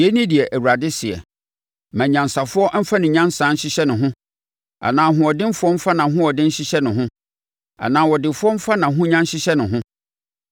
Yei ne deɛ Awurade seɛ: “Mma onyansafoɔ mfa ne nyansa nhyehyɛ ne ho anaa ɔhoɔdenfoɔ mfa nʼahoɔden nhyehyɛ ne ho anaa ɔdefoɔ mfa nʼahonya nhyehyɛ ne ho.